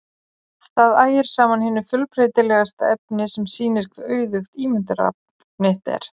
Það ægir saman hinu fjölbreytilegasta efni sem sýnir hve auðugt ímyndunarafl mitt er.